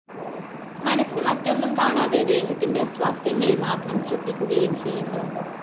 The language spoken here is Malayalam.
മനസ്സ് മറ്റൊന്നും കാണാതെ ദേഹത്തിന്റെ അസ്വാസ്ഥ്യങ്ങളെ മാത്രം ശ്രദ്ധിക്കുകയും ചെയ്യുന്നു